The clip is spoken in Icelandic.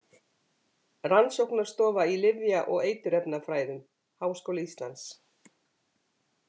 Rannsóknarstofa í lyfja- og eiturefnafræðum Háskóli Íslands.